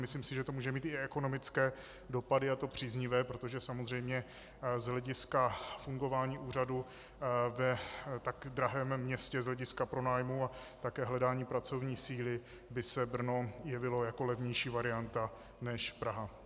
Myslím si, že to může mít i ekonomické dopady, a to příznivé, protože samozřejmě z hlediska fungování úřadu v tak drahém městě z hlediska pronájmů a také hledání pracovní síly by se Brno jevilo jako levnější varianta než Praha.